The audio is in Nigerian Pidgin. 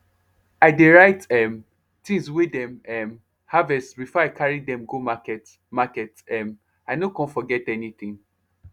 i dey write um things wey dem um harvest before i carry dim go market market um i no con forget anything